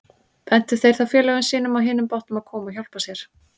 Bentu þeir þá félögum sínum á hinum bátnum að koma og hjálpa sér.